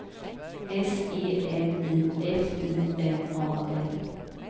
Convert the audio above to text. S E M I F I N A L